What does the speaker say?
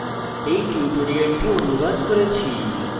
এই টিউটোরিয়ালটি অনুবাদ করেছি